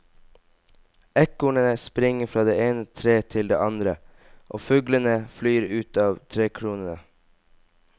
Ekornene springer fra det ene treet til det andre, fuglene flyr ut av trekronene.